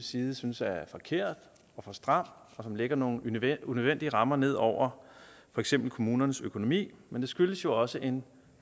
side synes er forkert for stram og lægger nogle unødvendige rammer ned over for eksempel kommunernes økonomi men det skyldes jo også en